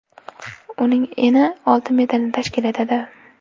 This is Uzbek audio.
Uning eni olti metrni tashkil etadi.